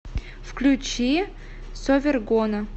включи совергона